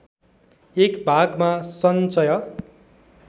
एक भागमा सञ्चय